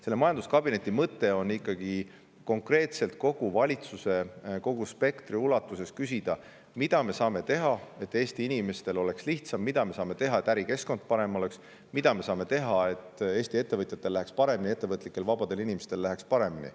Nii et majanduskabineti mõte on konkreetselt kogu valitsuse, kogu spektri ulatuses küsida, mida me saame teha, et Eesti inimestel oleks lihtsam, mida me saame teha, et ärikeskkond oleks parem, mida me saame teha, et Eesti ettevõtjatel ja ettevõtlikel vabadel inimestel läheks paremini.